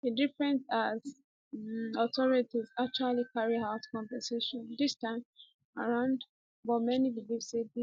e different as um authorities actually carry out compensation dis time around but many believe say dis